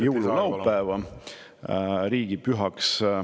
… jõululaupäev riigipühaks.